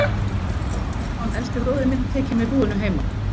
Þá var Stefán, elsti bróðir minn, tekinn við búinu heima.